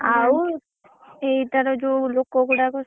ଆଉ ଏଇ ଥର ଯୋଉ ଲୋକ ଗୁଡାକ।